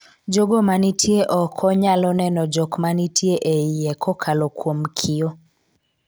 jogo manitie oko nyalo neno jok manitie e iye kokalo kuom kio